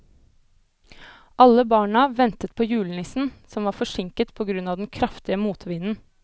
Alle barna ventet på julenissen, som var forsinket på grunn av den kraftige motvinden.